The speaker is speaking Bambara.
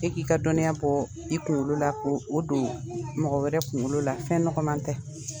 E k'i ka dɔnniya bɔ i kunkolo la , ko o don mɔgɔ wɛrɛ kunkolo la ,fɛn nɔgɔma tɛ.